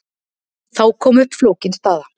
Þá kom upp flókin staða.